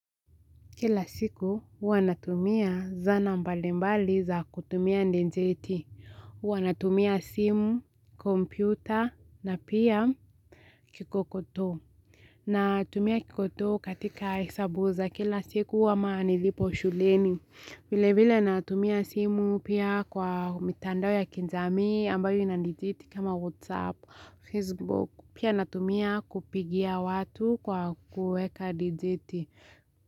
Kila siku hua natumia zana mbalimbali za kutumia ndenjeti, uanatumia simu, kompyuta na pia kikokoto na tumia kikoto katika hesabu za kila siku ama nilipo shuleni. Vile vile natumia simu pia kwa mitandao ya kijamii ambayo ina dijeti kama whatsapp, facebook pia natumia kupigia watu kwa kuweka dijeti.